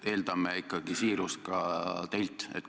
Eeldame ikkagi siirust ka teilt.